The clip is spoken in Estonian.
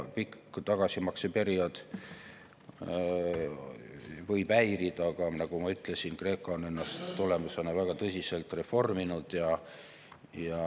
Pikk tagasimakseperiood võib häirida, aga nagu ma ütlesin, Kreeka on ennast selle tulemusena väga tõsiselt reforminud.